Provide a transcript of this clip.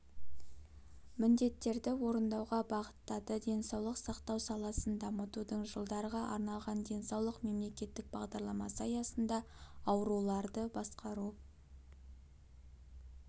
міндеттерді орындауға бағыттады денсаулық сақтау саласын дамытудың жылдарға арналған денсаулық мемлекеттік бағдарламасы аясында ауруларды басқару